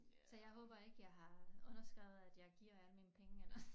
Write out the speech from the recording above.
Så jeg håber ikke jeg har underskrevet at jeg giver alle mine penge eller